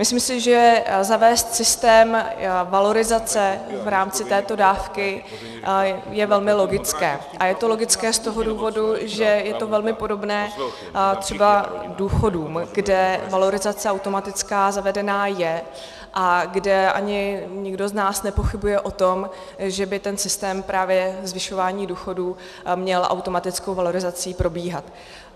Myslím si, že zavést systém valorizace v rámci této dávky je velmi logické a je to logické z toho důvodu, že je to velmi podobné třeba důchodům, kde valorizace automatická zavedená je a kde ani nikdo z nás nepochybuje o tom, že by ten systém právě zvyšování důchodů měl automatickou valorizací probíhat.